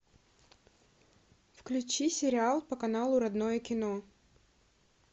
включи сериал по каналу родное кино